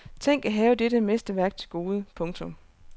Tænk at have dette mesterværk til gode. punktum